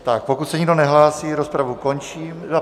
Tak pokud se nikdo nehlásí, rozpravu končím...